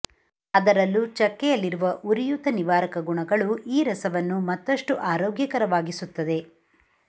ಅದರಲ್ಲೂ ಚಕ್ಕೆಯಲ್ಲಿರುವ ಉರಿಯೂತ ನಿವಾರಕ ಗುಣಗಳು ಈ ರಸವನ್ನು ಮತ್ತಷ್ಟು ಆರೋಗ್ಯಕರವಾಗಿಸುತ್ತದೆ